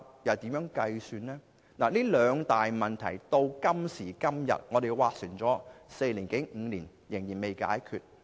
就這兩大問題，今時今日，我們已經斡旋四五年，但問題仍未能解決。